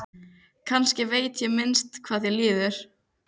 Kannski veit ég minnst hvað þér líður.